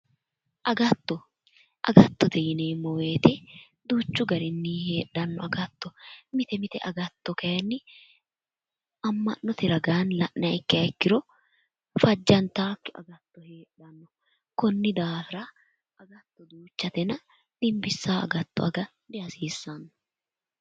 Agatto agattote yineemmo woyte duuchu garinni heedhanno agatto mite mite agatto kayinni amma'note ragaanni la'niha ikkiha ikkiro fajjantaakki agatto heedhanno konni daafira agatto duuchatena dimbissanno agatto aga dihasiissanno